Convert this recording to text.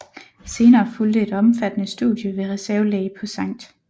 Senere fulgte et omfattende studie ved reservelæge på Sct